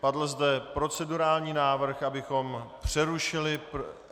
Padl zde procedurální návrh, abychom přerušili...